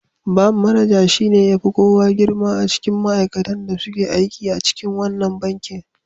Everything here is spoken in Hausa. Ban manaja shi ne ya fi kowa girma a cikin ma'aikatan da suke aiki a wannan bankin.